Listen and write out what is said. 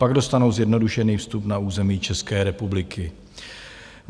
Pak dostanou zjednodušený vstup na území České republiky.